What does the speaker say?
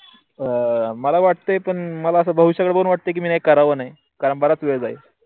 मला वाटते पण मला असं भविष्याच पण अस वाटेकी मी कराव नाही कारण बराच वेळ जाईल.